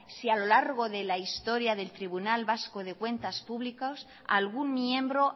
si a lo largo de la historia del tribunal vasco de cuentas públicas algún miembro